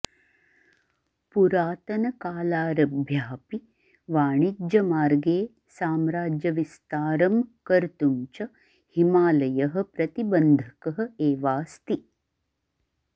पुरातनकालारभ्यापि वाणिज्यमार्गे साम्राज्यविस्तारं कर्तुं च हिमालयः प्रतिबन्धकः एवास्ति